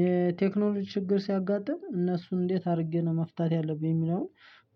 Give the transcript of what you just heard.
የቴክኖሎጂ ችግር ሲያጋጥም እነሱን እንዴት አድርጌ ነው መፍታት ያለብኝ የሚለውን